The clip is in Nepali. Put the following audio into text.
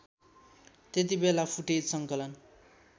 त्यतिबेला फुटेज सङ्कलन